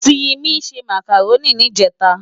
Simi sè Mákáróni nijètá